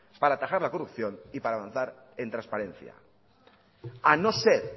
para atajar la corrupción y para avanzar en transparencia a no ser